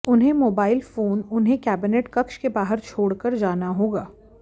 उन्हें mobile phone उन्हें cabinet कक्ष के बाहर छोड़ कर जाना होगा